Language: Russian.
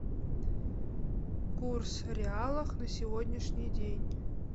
курс реала на сегодняшний день